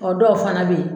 Ɔ dɔw fana bɛ yen